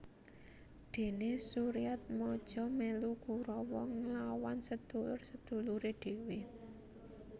Dene Suryatmaja melu Kurawa nglawan sedulur sedulure dhewe